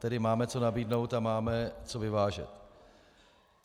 Tedy máme co nabídnout a máme co vyvážet.